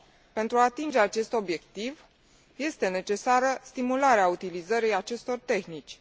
Pentru a atinge acest obiectiv, este necesară stimularea utilizării acestor tehnici.